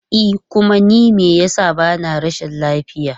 E kuma ni me yasa bana rashin lafiya.